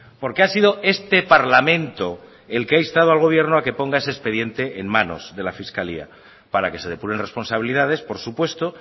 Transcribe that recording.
porque ha sido este parlamento el que ha instado al gobierno a que ponga ese expediente en manos de la fiscalía para que se depuren responsabilidades por supuesto